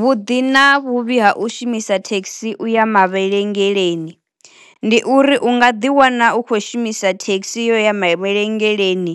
Vhuḓi na vhuvhi ha u shumisa thekhisi u ya mavhelengeleni, ndi uri u nga ḓi wana u khou shumisa thekhisi u ya mavhengeleni